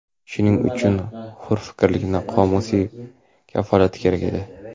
Shuning uchun hurfikrlikning qomusiy kafolati kerak edi.